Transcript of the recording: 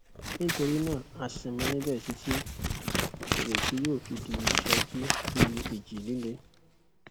nítorí náà a sinmi níbẹ títí ìrètí yóò fi di sọ jí bí ìjì líle